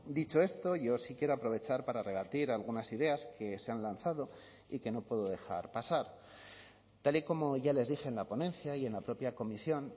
dicho esto yo sí quiero aprovechar para rebatir algunas ideas que se han lanzado y que no puedo dejar pasar tal y como ya les dije en la ponencia y en la propia comisión